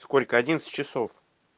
сколько одиннадцать часов